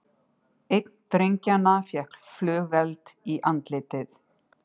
Einn drengjanna fékk flugeld í andlitið